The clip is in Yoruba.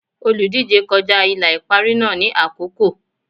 Olùdíje kọjá ìlà ìparí náà ní àkókò.